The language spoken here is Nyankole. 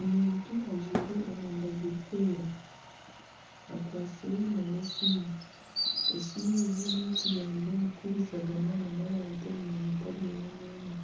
Omuntu ajwaire omwenda gurikwera akwatsire n'esiimu, esiimu egi neyo kuyamba omu kuhuurizana n'abantu omu myanya etari emwe n'emwe